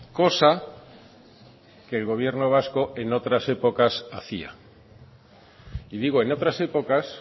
cosa que el gobierno vasco en otras épocas hacía y digo en otras épocas